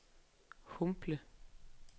Humble